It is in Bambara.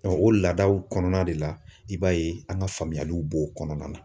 o laadaw kɔnɔna de la i b'a ye an ka faamuyaliw b'o kɔnɔna na.